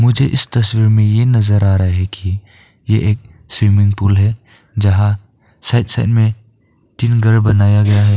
मुझे इस तस्वीर में ये नजर आ रहा है कि ये एक स्विमिंग पूल है यहां साइड साइड में तीन घर बनाया गया है।